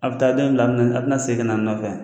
A bɛ taa dɔ in bila, a bɛna a bɛna segin ka n'a nɔ nɔfɛ